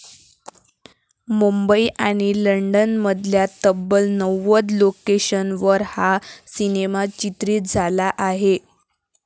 मुंबई आणि लंडनमधल्या तब्बल नव्वद लोकेशन्सवर हा सिनेमा चित्रीत झाला आहे.